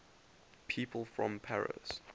people from paris